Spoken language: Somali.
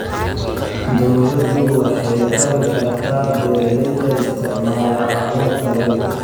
Dawladdu waxay ku kabi kartaa beeralayda isticmaala abuur tayo leh.